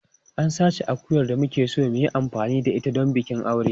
An sace akuyar da muke so mu yi amfani da ita don bikin aure.